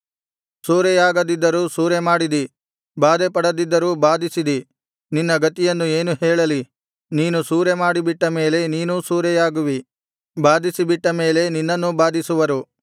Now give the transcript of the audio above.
ಸೂರೆಯಾಗದಿದ್ದರೂ ಸೂರೆಮಾಡಿದಿ ಬಾಧೆಪಡದಿದ್ದರೂ ಬಾಧಿಸಿದಿ ನಿನ್ನ ಗತಿಯನ್ನು ಏನು ಹೇಳಲಿ ನೀನು ಸೂರೆಮಾಡಿ ಬಿಟ್ಟ ಮೇಲೆ ನೀನೂ ಸೂರೆಯಾಗುವಿ ಬಾಧಿಸಿ ಬಿಟ್ಟ ಮೇಲೆ ನಿನ್ನನ್ನೂ ಬಾಧಿಸುವರು